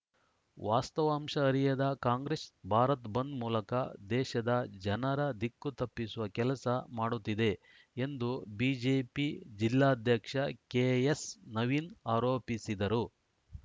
ವಾಸ್ತವಾಂಶ ಅರಿಯದ ಕಾಂಗ್ರೆಸ್‌ ಭಾರತ್‌ ಬಂದ್‌ ಮೂಲಕ ದೇಶದ ಜನರ ದಿಕ್ಕು ತಪ್ಪಿಸುವ ಕೆಲಸ ಮಾಡುತ್ತಿದೆ ಎಂದು ಬಿಜೆಪಿ ಜಿಲ್ಲಾಧ್ಯಕ್ಷ ಕೆಎಸ್‌ ನವೀನ್‌ ಆರೋಪಿಸಿದರು